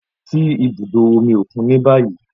Lọ si ibudo omi okun ni bayi!